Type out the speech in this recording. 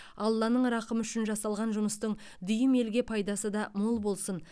алланың рақымы үшін жасалған жұмыстың дүйім елге пайдасы да мол болсын